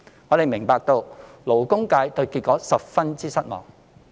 我們明白勞工界對這結果十分失望。